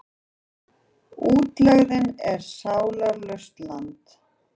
Útlegðin er sálarlaust land.